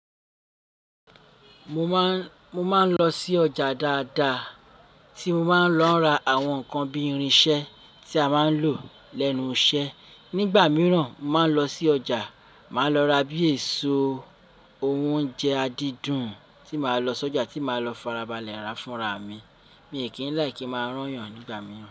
Mo máa, mo máa ń lọ sí ọjà dáadáa tí mo máa ń lọ ra àwọn nǹkan bí irinṣẹ́ tí a máa ń lò lẹ́nu iṣẹ́. Nígbà mìíràn, mo máa ń lọ sí ọjà, màá lọ ra bí èso, ohun oúnjẹ adídùn tí màá lọ sọ́jà tí màá lọ farabalẹ̀ ra fún ra mi. Mi kí ń láì kí máa rán yàn nígbà mìíràn.